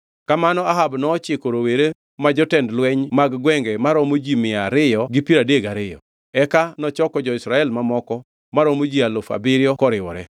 Kamano Ahab nochiko rowere ma jotend lweny mag gwenge maromo ji mia ariyo gi piero adek gariyo. Eka nochoko jo-Israel mamoko maromo ji alufu abiriyo koriwore.